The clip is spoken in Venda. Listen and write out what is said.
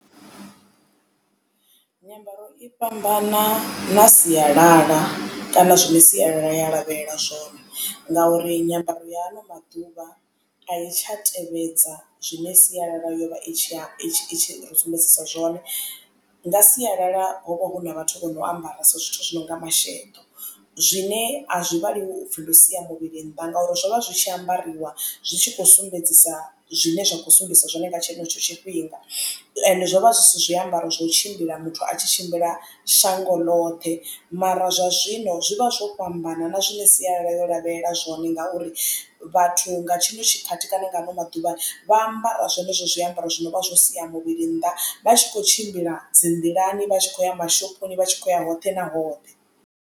Nyambaro i fhambana na sialala kana zwine sialala ya lavhelela zwone ngauri nyambaro ya ano maḓuvha a i tsha tevhedza zwine sialala yovha i tshi ri sumbedzisa zwone. Nga sialala ho vha hu na vhathu vho no ambaresa zwithu zwi no nga masheḓo zwine a zwi vhaliwi upfhi ndo sia muvhili nnḓa ngauri zwo vha zwi tshi ambariwa zwi tshi khou sumbedzisa zwine zwa khou sumbedzisa zwone nga tshenetsho tshifhinga. Ende zwo vha zwi si zwiambaro zwo tshimbila muthu a tshi tshimbila shango ḽoṱhe mara zwa zwino zwi vha zwo fhambana na zwine sialala ya lavhelela zwone ngauri vhathu nga tshino tshikhathi kana nga ano maḓuvhani vha ambara zwenezwo zwiambaro zwino vha zwo sia muvhili nnḓa vha tshi kho tshimbila dzi nḓilani vha tshi khoya mashoponi vhatshi kho uya hoṱhe na hoṱhe.